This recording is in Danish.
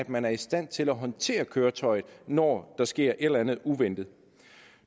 man er i stand til at håndtere køretøjet når der sker et eller andet uventet